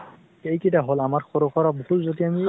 এই কেইটা হল আমাৰ সৰু সুৰা ভুল যদি আমি